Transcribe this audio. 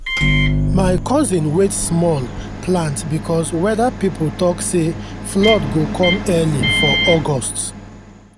my cousin wait small plant because weather people talk say flood go come early for august.